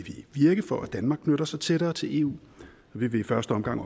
virke for at danmark knytter sig tættere til eu vi vil i første omgang